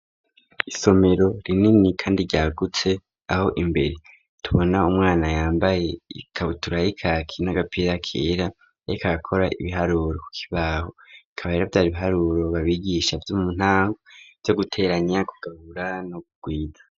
Isomero rinini, kandi ryagutse, aho imbere tubona umwana yambaye ikabutura yi'kaki n'agapira kera, yariko akora ibiharuro ku kibaho, bikaba rero vyari ibiharuro babigisha vyo mu ntango, vyo guteranya, kugabura no kugwiza.